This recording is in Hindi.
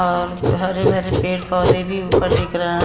और हरे हरे पेड़ पौधे भी ऊपर दिख रहा है।